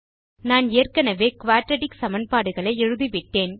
நான் ஏற்கெனெவே குயாட்ராட்டிக் சமன்பாடுகளை எழுதிவிட்டேன்